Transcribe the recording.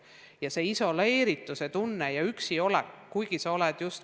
Nii tekib isoleerituse ja üksi jätmise tunne.